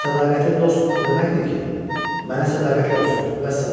Sədaqətli dost o deməkdir ki, mənə sədaqətli olsun, vəssalam.